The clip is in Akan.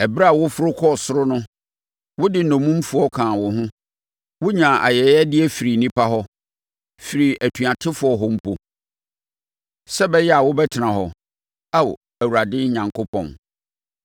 Ɛberɛ a woforo kɔɔ soro no, wode nnommumfoɔ kaa wo ho; wonyaa ayɛyɛdeɛ firii nnipa hɔ, firii atuatefoɔ hɔ mpo, sɛ ɛbɛyɛ a wobɛtena hɔ, Ao Awurade Onyankopɔn.